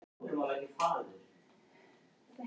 Það má kannski bjóða rithöfundinum í dans?